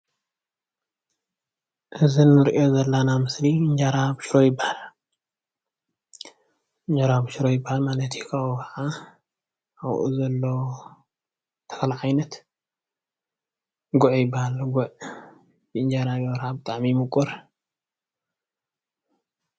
እዚ ንሪኦ ዘላና ምስሊ እንጀራ ብሽሮ እንጀራ ይበሃልብሽሮ ይበሃል ማለት እዩ። ካብኡ ከዓ ኣብኡ ዘሎ ተኽሊ ዓይነት ጒዕ ይበሃል ጒዕ ብእንጀራ ጌርኻ ብጣዕሚ እዩ ሙቁር።